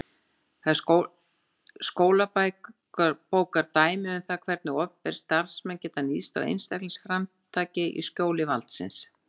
Það er skólabókardæmi um það hvernig opinberir starfsmenn geta níðst á einstaklingsframtaki í skjóli valdsins.